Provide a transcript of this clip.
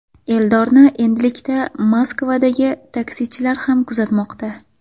Eldorni endilikda Moskvadagi taksichilar ham kuzatmoqda.